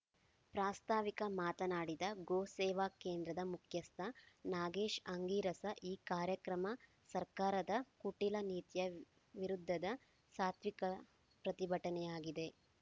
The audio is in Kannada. ಪ್ರಾಸ್ತಾವಿಕ ಮಾತನಾಡಿದ ಗೋ ಸೇವಾ ಕೇಂದ್ರದ ಮುಖ್ಯಸ್ಥ ನಾಗೇಶ್‌ ಆಂಗೀರಸ ಈ ಕಾರ್ಯಕ್ರಮ ಸರ್ಕಾರದ ಕುಟಿಲ ನೀತಿಯ ವಿರುದ್ಧದ ಸಾತ್ವಿಕ ಪ್ರತಿಭಟನೆಯಾಗಿದೆ